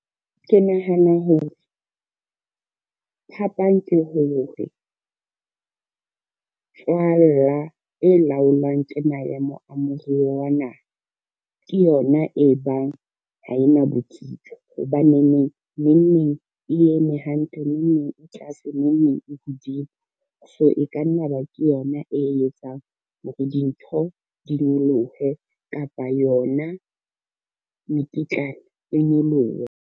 Ke nahana hore, phapang ke hore tswalla e laolwang a moruo wa naha, ke yona e bang ha e na botsitso, hobaneneng neng neng e eme hantle, neng neng e tlase, neng neng e hodimo. So e ka nna ba ke yona e etsang hore dintho di nyolohe kapa yona mekitlane e nyolohe.